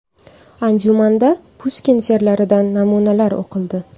Anjumanda Pushkin she’rlaridan namunalar o‘qildi.